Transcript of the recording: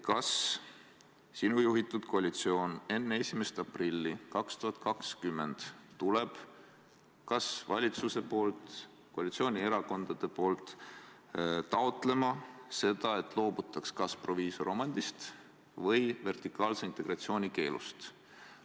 Kas sinu juhitud koalitsioon tuleb enne 1. aprilli 2020 kas valitsuse või koalitsioonierakondade nimel taotlema seda, et loobutaks kas proviisoromandist või vertikaalse integratsiooni keelust?